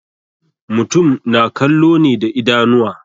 Mutum na kallo ne da idanuwa.